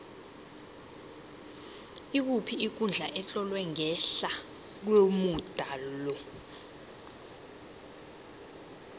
ikuphi ikundla etlolwe ngehla komuda lo